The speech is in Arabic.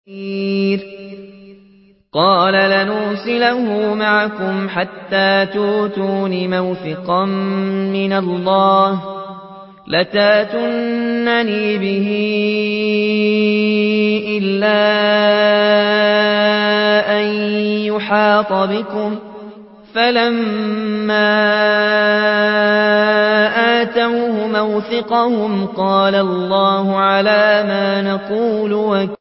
قَالَ لَنْ أُرْسِلَهُ مَعَكُمْ حَتَّىٰ تُؤْتُونِ مَوْثِقًا مِّنَ اللَّهِ لَتَأْتُنَّنِي بِهِ إِلَّا أَن يُحَاطَ بِكُمْ ۖ فَلَمَّا آتَوْهُ مَوْثِقَهُمْ قَالَ اللَّهُ عَلَىٰ مَا نَقُولُ وَكِيلٌ